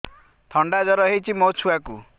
ଥଣ୍ଡା ଜର ହେଇଚି ମୋ ଛୁଆକୁ